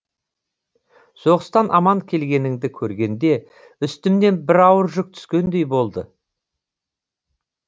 соғыстан аман келгеніңді көргенде үстімнен бір ауыр жүк түскендей болды